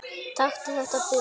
Taktu þetta burt!